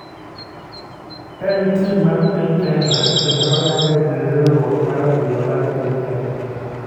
En tim mar piny kenya kendo oyange gi riwruok mar adhula mar piny kenya.